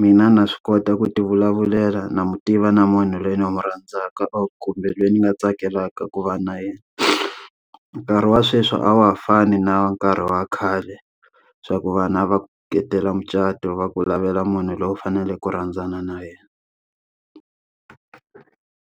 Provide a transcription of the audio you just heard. mina na swi kota ku ti vulavulela na n'wi tiva na munhu loyi ni n'wi rhandzaka or khumbe loyi ni nga tsakelaka ku va na yena. Nkarhi wa sweswi a wa ha fani na nkarhi wa khale, swa ku vanhu a va khetela mucato va ku lavela munhu loyi u faneleke ku rhandzana na yena.